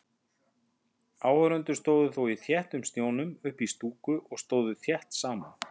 Áhorfendur stóðu þó í þéttum snjónum uppí stúku og stóðu þétt saman.